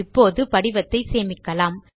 இப்போது படிவத்தை சேமிக்கலாம்